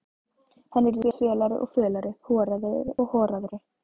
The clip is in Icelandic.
Hann yrði fölari og fölari, horaðri og horaðri.